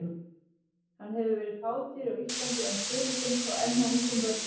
Hann hefur verið fátíður á Íslandi en fyrirfinnst þó enn hjá ungum börnum.